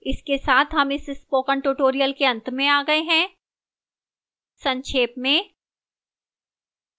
इसी के साथ हम इस स्पोकन tutorial के अंत में आ गए हैं संक्षेप में